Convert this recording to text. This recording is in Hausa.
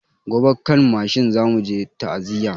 Gobe kan mashin zamu je ta'aziya